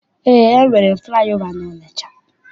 Eé, e nwere flaị ova n'Ọnịcha.